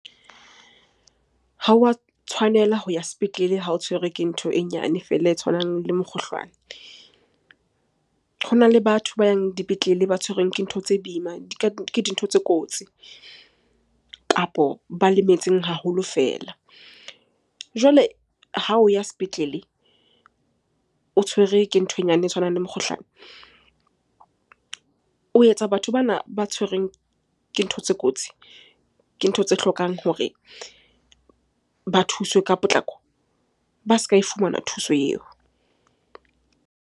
Ha o wa tshwanela ho ya sepetlele ha o tshwerwe ke ntho e nyane feela e tshwanang le mokgohlwane. Hona le batho ba yang dipetlele ba tshwerweng ke ntho tse boima ke di ka dintho tse kotsi kapo ba lemetseng haholo fela. Jwale ha o ya sepetlele o tshwere ke ntho e nyane e tshwanang le mokgohlane, o etsa batho bana ba tshwerweng ke ntho tse kotsi, ke ntho tse hlokang hore ba thuswe ka potlako. Ba se ka e fumana thuso eo.